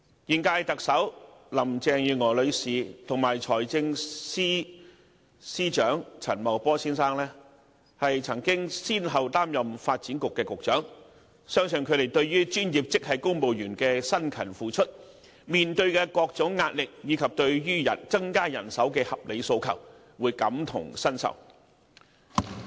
現屆特首林鄭月娥女士及財政司司長陳茂波先生均曾先後擔任發展局局長，相信兩人對於專業職系公務員的辛勤付出、面對的各種壓力，以及對於增加人手的合理訴求，會感同身受。